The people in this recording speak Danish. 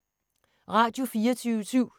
Radio24syv